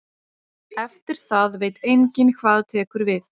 Eftir það veit enginn hvað tekur við.